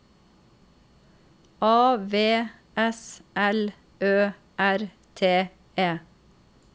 A V S L Ø R T E